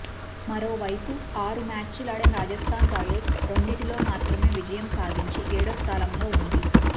మరోవైపు ఆరు మ్యాచ్లాడిన రాజస్థాన్ రాయల్స్ రెండింటిలో మాత్రమే విజయం సాధించి ఏడో స్థానంలో ఉంది